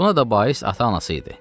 Buna da bais ata-anası idi.